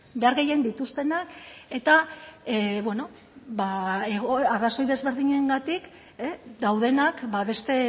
behar gehien dituztenak eta beno arrazoi desberdinengatik daudenak beste